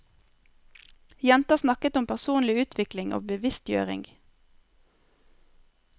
Jenta snakket om personlig utvikling og bevisstgjøring.